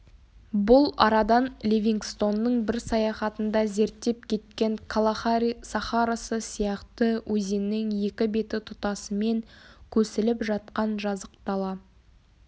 бұл арадан ливингстонның бір саяхатында зерттеп кеткен калахари сахарасы сияқты өзеннің екі беті тұтасымен көсіліп жатқан жазық дала